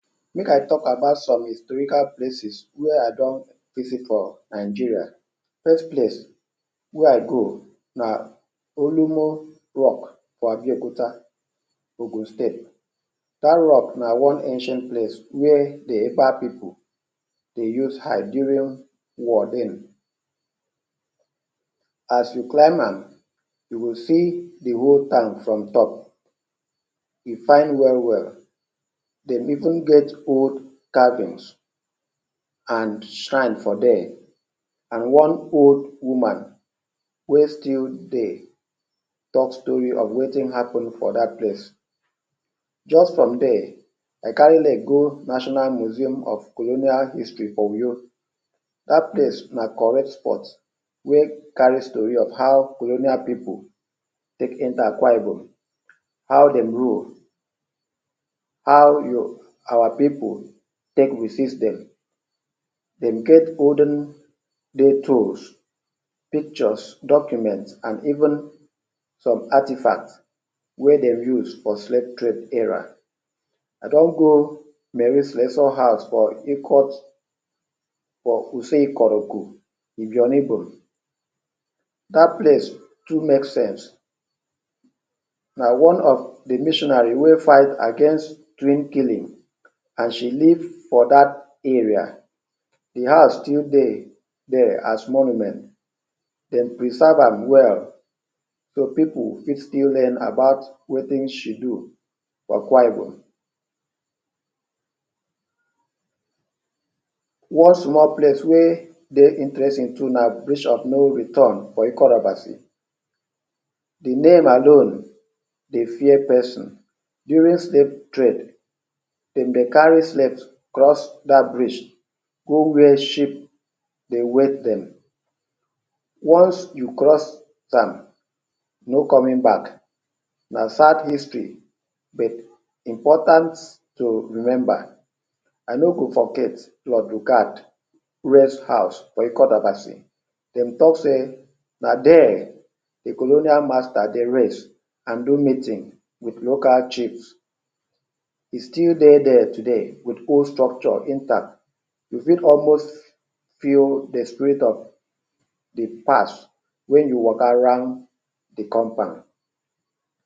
Make I tok about some historical places wey I don visit for Nigeria. First place wey I go na Olumo rock for Abeokuta, Ogun state. Dat rock na one ancient place where pipu de use hide during war then. As you climb am, you go see di whole town from top – e fine well well. De even get old cabins and shrines for there, and one old woman wey still dey tok story of wetin happen for dat place. Just from there, I carry leg go National Museum of Colonial History for Uyo. Dat place na correct spot wey carry story of how colonial pipu take enter Akwa Ibom, how dem rule, how yo-, our pipu take resist dem. Dem get olden days tool, pictures, documents, and even some artefacts wey dem use for slave trade era. I don go Mary Slessor House for Ikot, for Use Ikot Oku, Ibiono Ibom; dat place too make sense. Na one of di missionary wey fight against twin killing and she live for dat area. Di house still de there as monument, dem preserve am well so pipu fit still learn about wetin she do for Akwa Ibom. One small place wey de interesting too na Bridge of No Return for Ikot Abasi. Di name alone de fear pesin. During slave trade, dem dey carry slave cross dat bridge go where ship dey wait dem. Once you cross am, no coming back; na sad history but important to remember. I no go forget Lord Lugard Rest House for Ikot Abasi: dem tok sey na there di colonial master dey rest and do meeting wit local chiefs. E still dey there today, wit whole structure intact. You fit almost feel di spirit of di past wen you waka round di compound.